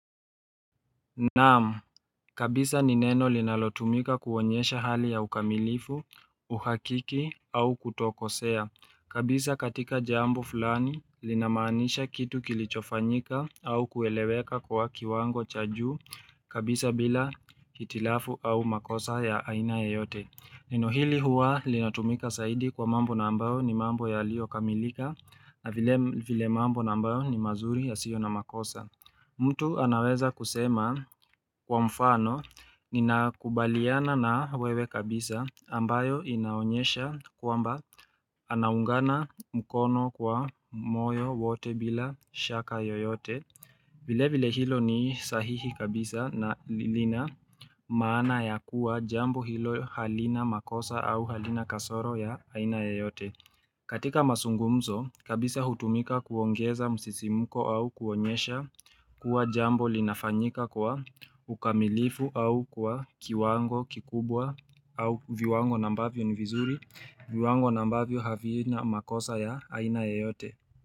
Naam, kabisa ni neno linalotumika kuonyesha hali ya ukamilifu, uhakiki au kutokosea. Kabisa katika jambo fulani, linamaanisha kitu kilichofanyika au kueleweka kwa kiwango cha juu, kabisa bila hitilafu au makosa ya aina yeyote. Nino hili huwa linatumika zaidi kwa mambo na ambayo ni mambo yalio kamilika na vile mambo na ambayo ni mazuri yasiyo na makosa. Mtu anaweza kusema kwa mfano nina kubaliana na wewe kabisa ambayo inaonyesha kwamba anaungana mkono kwa moyo wote bila shaka yoyote vile vile hilo ni sahihi kabisa na lina maana ya kuwa jambo hilo halina makosa au halina kasoro ya aina yoyote katika mazungumzo, kabisa hutumika kuongeza msisimuko au kuonyesha kuwa jambo linafanyika kwa ukamilifu au kwa kiwango kikubwa au viwango na ambavyo ni vizuri, viwango na ambavyo havina makosa ya aina yeyote.